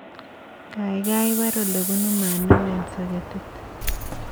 Gaigai paar olebunu maat neo eng soketit